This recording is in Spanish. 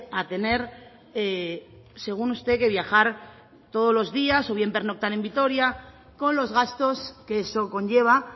a tener según usted que viajar todos los días o bien pernoctar en vitoria con los gastos que eso conlleva